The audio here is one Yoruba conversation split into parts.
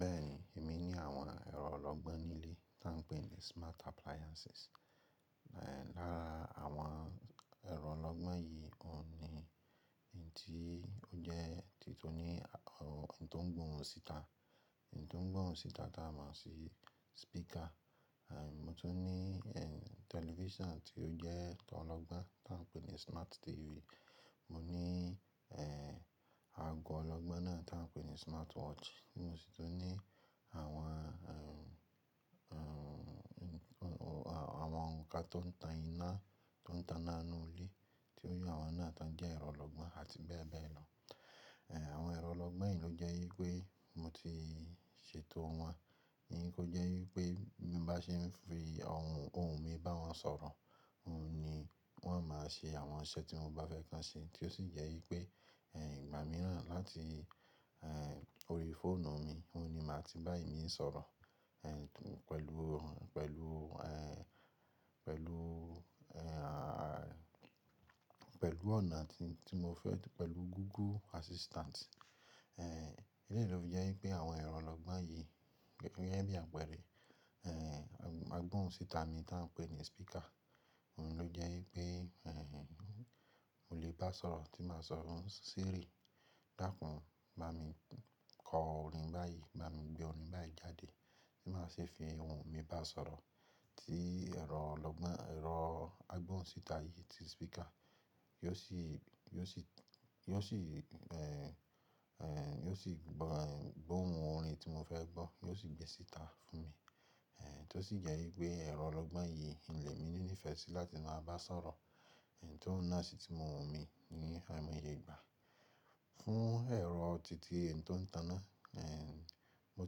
Bẹ́ẹ̀ni, èmi ní àwọn ẹ̀rọ ọlọ́gbọ́n nílé tí à ń pè ní smart appliances. Lára àwọn ẹ̀rọ ọlọ́gbọ́n yìí, òun ni èyí tí ó jẹ́ tìtún ní ohun tó ń gbóhun síta, èyí tó ń gbóhun síta tí a máa ń ṣe speaker. Mo tún ní television tí ó jẹ́ tó ọlọ́gbọ́n tí à ń pè ní smart TV. Mo ní ago ọlọ́gbọ́n náà tí à ń pè ní smartwatch. Mo sì tún ní àwọn, àwọn ǹkan tó ń tana nínú ilé tí ó yẹ àwọn náà tán jẹ́ ẹ̀rọ ọlọ́gbọ́n àti bẹ́ẹ̀ bẹ́ẹ̀ lọ. Àwọn ẹ̀rọ ọlọ́gbọ́n yìí ló jẹ́ wípé mo ti ṣètò wọn ní kó jẹ́ wípé bí mbá ṣe ń fi ohùn mi bá wọn sọ̀rọ̀, òun ni wọ́n obmáa ṣe àwọn iṣẹ́ tí mo bá fẹ́ k'on ṣe tí ó sì jẹ́ wípé ìgbá miran láti orí fóònù mi, òun ni màá ti bá eni yen sọ̀rọ̀ pẹ̀lú, pẹ̀lú, pẹ̀lú, pẹ̀lú ọ̀nà tí mo fẹ́ pẹ̀lú Google Assistant. Élèyìí ló fi jẹ́ wípé àwọn ẹ̀rọ ọlọ́gbọ́n yìí gẹ́gẹ́ bí àpèré, agbóhùn síta mi tí à ń pè ní speaker. Òun ló jẹ́ wípé mò lè bá sọ̀rọ̀ tí màá sọ, "Siri, dáàkún, bá mi kọ orin báyìí, bá mi gbé orin báyìí jáde." Tí màá si fi ohùn mi bá sọ̀rọ̀ tí ẹ̀rọ ọlọ́gbọ́n, ẹ̀rọ agbóhùn síta yìí tí speaker yóò sì, yóò sì, yóò sì gbóhun orin tí mo fẹ́ gbọ́, yóò sì gbẹ́ síta fún mi. Tí ó sì jẹ́ wípé ẹ̀rọ ọlọ́gbọ́n yìí ń le mí ní fẹ́ sì láti máa bá sọ̀rọ̀. T' oun náà sì ti mo'hùn mi ní àimoye ìgbà. Fún ẹ̀rọ titi èyí tó ń tana, mo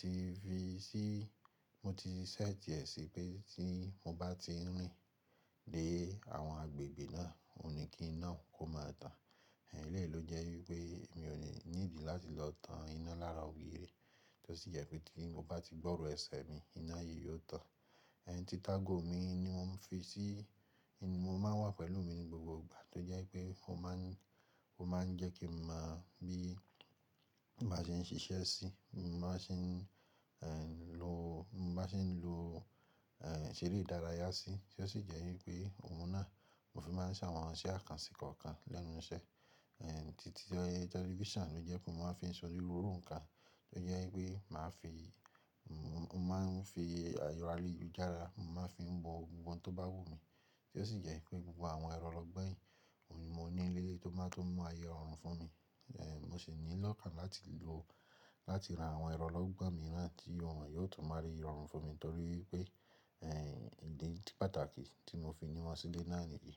ti fi sí, mo ti ṣẹ́tì ẹ̀ sí pé tí mo bá ti n rìn de àwọn agbègbè náà, òun ni kí iná òun kó máa tàn. Eléyìí ló jẹ́ wípé mi ò ní níìdí láti lọ tan iná lára ògiri, tí ó sì jẹ́ pé tí mo bá ti gbọ́rọ̀ ẹsẹ̀ mi, iná yìí yóò tàn. Títàgo mi ni mò ń fi sí, mo máa ń wà pẹ̀lú mi ní gbogbo ìgbà tí ó jẹ́ wípé mo máa ń, ó máa ń jẹ́ kí n maa mọ̀ bí màá ṣe ń ṣiṣẹ́ sí i, mo máa ṣe ń lo, mo bá ṣe ń lo ṣeré ìdárayá sí i tí ó sì jẹ́ wípé òun náà mo fi máa ń ṣe àwọn iṣẹ́ àkànṣe kọ̀ọ̀kan lẹ́nu iṣẹ́. Titi television ló jẹ́ pé mo máa ń fi ṣe oniruru nnkàn tí ó jẹ́ wípé màá fi, mo máa ń fi erọ̀ ayelujara mo máa ń fi wo gbogbo ohun tó bá wù mí tí ó sì jẹ́ wípé gbogbo àwọn ẹ̀rọ ọlọ́gbọ́n yìí, òun ni mo ní nilé tó máa tó mú aye rọ̀rùn fún mi. Mo sì ní lọ́kàn láti lo, láti ra àwọn ẹ̀rọ ọlọ́gbọ́n mìíràn ti wọ́n yóò tún m'aye rọ̀rùn fún mi nítorí pé ìdí pàtàkì tí mo fi ni wọ́n sílé náà nìyí.